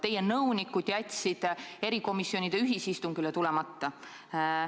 Teie nõunikud jätsid erikomisjonide ühisistungile tulemata.